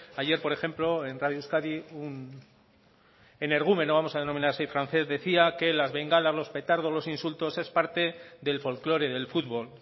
ayer por ejemplo en radio euskadi un energúmeno vamos a denominar así francés decía que las bengalas los petardos los insultos es parte del folklore del fútbol